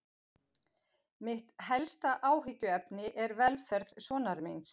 Mitt helsta áhyggjuefni er velferð sonar míns.